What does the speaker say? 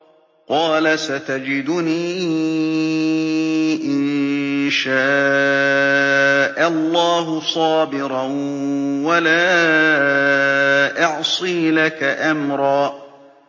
قَالَ سَتَجِدُنِي إِن شَاءَ اللَّهُ صَابِرًا وَلَا أَعْصِي لَكَ أَمْرًا